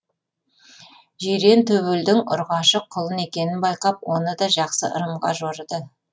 жирен төбелдің ұрғашы құлын екенін байқап оны да жақсы ырымға жорыды